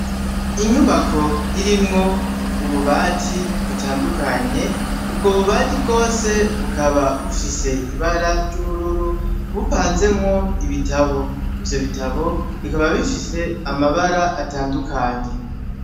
Inyubako irimwo ububati butandukanye ubwo bubati bwose bukaba bufise ibara ry'ubururu bupanzemwo ibitabo, ivyo bitabo bikaba bifise amabara atandukanye.